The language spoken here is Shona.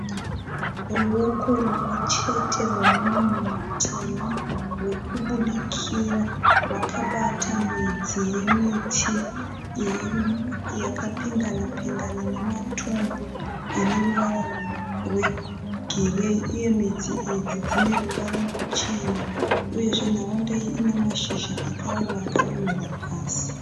Ruoko rumwe chete rwemunhu mutema ruri kubudikira rwakabata midzi yemiti yakapindana pindana nematombo ane ruvara rwegireyiuye midzi idzi dzine ruvara ruchena. Uyezve nharaunda iyi ine mashizha akaoma akadonhera pasi.